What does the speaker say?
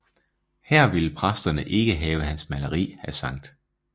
Her ville præsterne ikke have hans maleri af Skt